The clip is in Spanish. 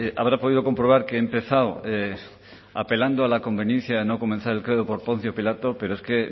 habrá podido comprobar que he empezado apelando a la conveniencia de no comenzar el credo por poncio pilato pero es que